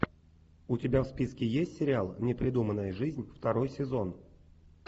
у тебя в списке есть сериал непридуманная жизнь второй сезон